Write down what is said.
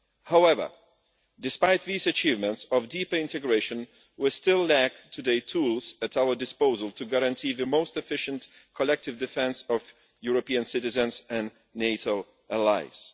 However, despite these achievements of deeper integration, we still lack today tools at our disposal to guarantee the most efficient, collective defence of European citizens and NATO allies.